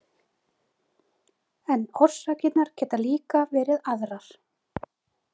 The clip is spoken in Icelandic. En orsakirnar geta líka verið aðrar.